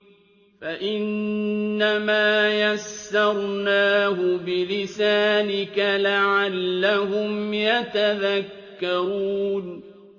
فَإِنَّمَا يَسَّرْنَاهُ بِلِسَانِكَ لَعَلَّهُمْ يَتَذَكَّرُونَ